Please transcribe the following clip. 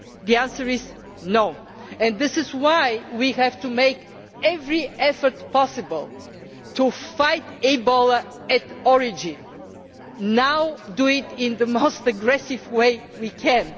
The answer is no, and this is why we have to make every effort possible to fight Ebola at origin, now, and do it in the most aggressive way we